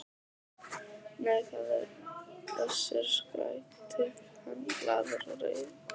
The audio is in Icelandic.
Nei, það er Össur, skrækti hann glaður og reifur.